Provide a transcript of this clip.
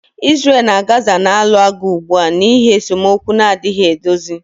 Israel na Gaza na-alụ agha ugbu a n'ihi esemokwu na-adịghị edozi